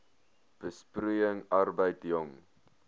besproeiing arbeid jong